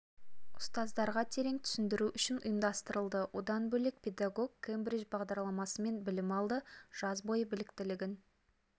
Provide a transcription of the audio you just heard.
ұстаздарға терең түсіндіру үшін ұйымдастырылды одан бөлек педагог кембридж бағдарламасымен білім алды жаз бойы біліктілігін